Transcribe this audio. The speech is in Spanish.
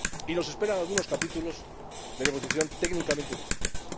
Nos esperan algunos capítulos de negociación técnicamente difíciles.